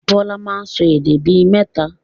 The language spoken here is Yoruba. Bọlá máa ń sọ èdè bí mẹ́ta